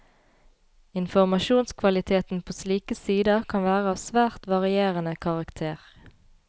Informasjonskvaliteten på slike sider kan være av svært varierende karakter.